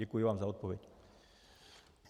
Děkuji vám za odpověď.